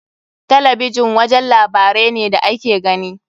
Talabijin wajen labarai ne da ake gani.